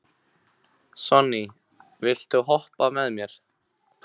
Sonný, viltu hoppa með mér?